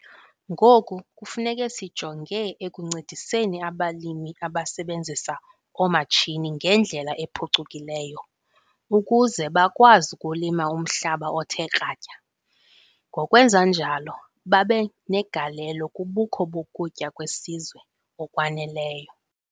Ngoku kufuneka sijonge ekuncediseni abalimi abasebenzisa oomatshini ngendlela ephucukileyo ukuze bakwazi ukulima umhlaba othe kratya ngokwenza njalo babe negalelo kubukho bokutya kwesizwe okwaneleyo.